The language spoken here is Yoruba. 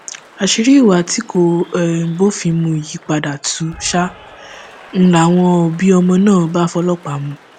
àṣírí ìwà tí kò um bófin mu yìí padà tú um ń láwọn òbí ọmọ náà bá fọlọpàá mú un